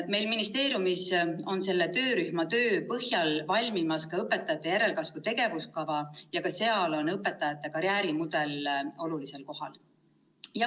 Meil ministeeriumis on selle töörühma töö põhjal valmimas ka õpetajate järelkasvu tegevuskava ja ka seal on õpetajate karjäärimudel olulisel kohal.